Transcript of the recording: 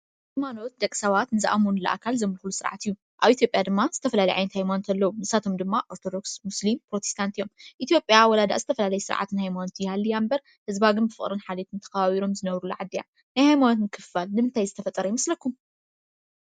ሃይማኖት ደቂ ሰበት ንዘኣመኑሉ ኣካል ዘምጉስ ስርዓት እዩ፡፡ nሳቶሞ ዲማ ኦርትዶክስ ሙስሊም ፕሮቴስንት ኢትጲያ ዋላ ዳኣ ዘተፋላለዩ ስርዓት ሃይማነት ዳኣ ይሀልዋ እምበር ህዝባ ግን ተካበብሮም ዝነብሩላ ዓዲ እያ፡፡ ናይ ሃይማነት ምክፍፋል ንምንታይ ዝተፈጠረ ይመሰለኩም ?